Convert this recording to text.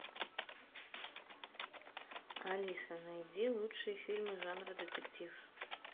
алиса найди лучшие фильмы жанра детектив